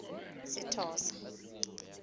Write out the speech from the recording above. sethosa